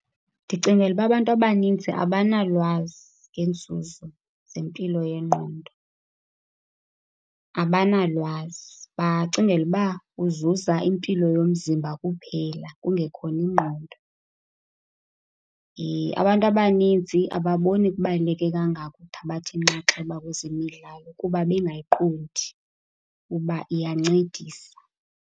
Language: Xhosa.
Ndicingela uba abantu abanintsi abanalwazi ngeenzuzo zempilo yengqondo, abanalwazi. Bacingela uba uzuza impilo yomzimba kuphela kungekhona ingqondo. Abantu abanintsi ababoni kubaluleke kangako ukuthabatha inxaxheba kwezemidlalo kuba bengayiqondi ukuba iyancendisa.